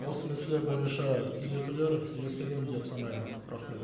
осы мәселе бойынша түзетулер ескерген деп санаймын рахмет